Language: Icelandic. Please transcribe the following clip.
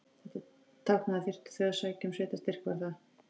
Þetta táknaði, að þyrftu þau að sækja um sveitarstyrk var það